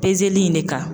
Pezeli in de ka